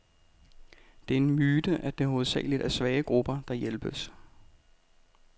Det er en myte, at det hovedsageligt er svage grupper, der hjælpes.